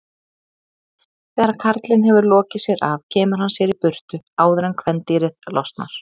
Þegar karlinn hefur lokið sér af kemur hann sér í burtu áður en kvendýrið losnar.